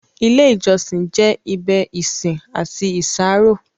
Ìlẹ̀ ìjọ̀ṣìn jẹ́ ibẹ̀ isin àti ìṣàrọ̀.